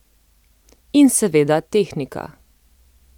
In seveda tehnika.